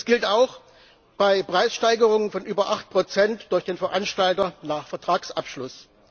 Das gilt auch bei Preissteigerungen von über 8 durch den Veranstalter nach Vertragsabschluss.